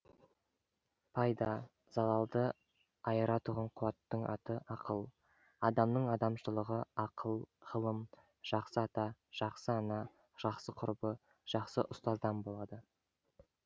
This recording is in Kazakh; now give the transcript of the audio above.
пайда залалды айыратұғын қуаттың аты ақыл адамның адамшылығы ақыл ғылым жақсы ата жақсы ана жақсы құрбы жақсы ұстаздан болады